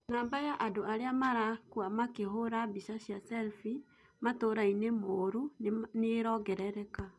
Namba ya andũ arĩa marakua makĩhũra mbica cia selfie matũũrainĩ mũru nĩĩrongerereka